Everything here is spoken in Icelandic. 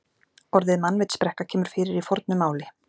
Orðið mannvitsbrekka kemur fyrir í fornu máli.